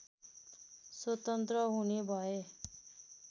स्वतन्त्र हुने भए